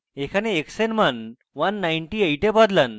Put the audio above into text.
এখানে x এর মান 198 এ বদলান